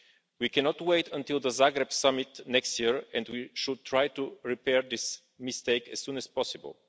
We cannot wait until the Zagreb Summit next year and we should try to repair this mistake as soon as possible.